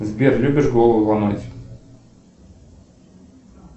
сбер любишь голову ломать